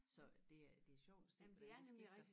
Så det er det sjovt at se hvordan det skifter